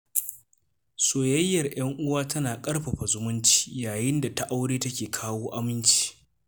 Soyayyar ‘yan uwa tana ƙarfafa zumunci, yayin da ta aure ke kawo aminci.